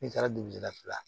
Ne taara dugu la